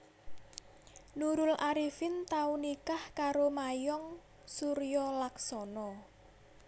Nurul Arifin tau nikah karo Mayong Suryolaksono